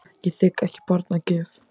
Ég þigg ekki barn að gjöf.